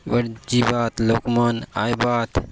ये बाट जिबा आत लोक मन आयबा आत।